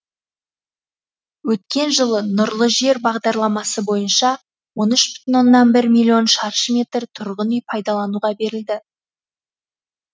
өткен жылы нұрлы жер бағдарламасы бойынша он үш оннан бір бүтін миллион шаршы метр тұрғын үй пайдалануға берілді